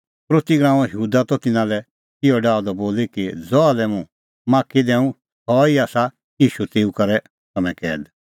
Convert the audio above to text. यहूदा इसकरोती त तिन्नां लै इहअ डाहअ द बोली कि ज़हा लै हुंह माख्खी दैंऊं सह ई आसा ईशू तेऊ करै तम्हैं कैद